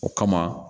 O kama